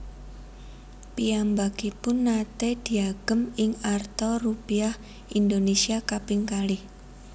Piyambakipun naté diagem ing arta Rupiah Indonesia kaping kalih